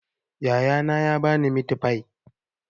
Yaya na ya ba ni mitifai